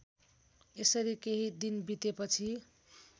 यसरी केही दिन बितेपछि